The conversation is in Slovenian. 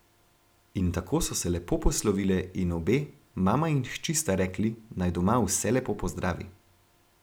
In tako so se lepo poslovile, in obe, mama in hči sta rekli, naj doma vse lepo pozdravi.